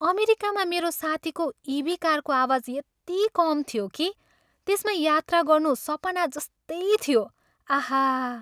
अमेरिकामा मेरो साथीको इभी कारको आवाज यति कम थियो कि त्यसमा यात्रा गर्नु सपना जस्तै थियो। आहा!